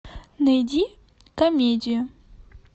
найди комедию